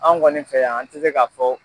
An kɔni fɛ yan an tɛ se ka fɔ